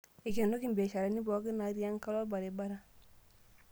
Eikenoki mbiasharani pooki naati enkalo orbaribara